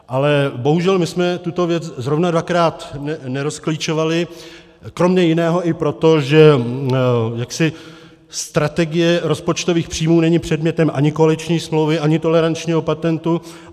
Ale bohužel my jsme tuto věc zrovna dvakrát nerozklíčovali kromě jiného i proto, že strategie rozpočtových příjmů není předmětem ani koaliční smlouvy, ani tolerančního patentu.